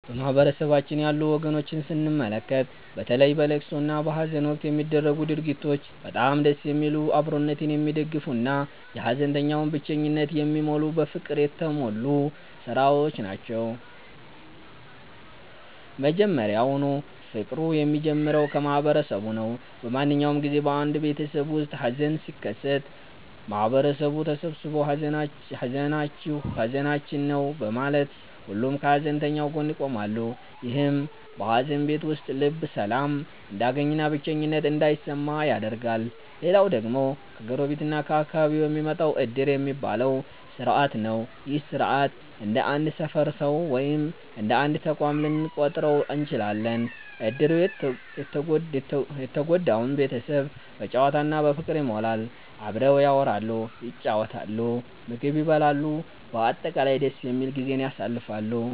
በማህበረሰባችን ያሉ ወጎችን ስንመለከት፣ በተለይ በለቅሶ እና በሃዘን ወቅት የሚደረጉት ድርጊቶች በጣም ደስ የሚሉ፣ አብሮነትን የሚደግፉ እና የሃዘንተኛውን ብቸኝነት የሚሞሉ በፍቅር የተሞሉ ሥራዎች ናቸው። መጀመሪያውኑ ፍቅሩ የሚጀምረው ከማህበረሰቡ ነው። በማንኛውም ጊዜ በአንድ ቤተሰብ ውስጥ ሃዘን ሲከሰት፣ ማህበረሰቡ ተሰብስቦ 'ሃዘናችሁ ሃዘናችን ነው' በማለት ሁሉም ከሃዘንተኛው ጎን ይቆማል። ይህም በሃዘን ቤት ውስጥ ልብ ሰላም እንዲያገኝና ብቸኝነት እንዳይሰማ ያደርጋል። ሌላው ደግሞ ከጎረቤት እና ከአካባቢው የሚመጣው 'ዕድር' የሚባለው ሥርዓት ነው። ይህ ሥርዓት እንደ አንድ ሰፈር ሰው ወይም እንደ አንድ ተቋም ልንቆጥረው እንችላለን። ዕድሩ የተጎዳውን ቤተሰብ በጨዋታ እና በፍቅር ይሞላዋል። አብረው ያወራሉ፣ ይጫወታሉ፣ ምግብ ይበላሉ፤ በአጠቃላይ ደስ የሚል ጊዜን ያሳልፋሉ።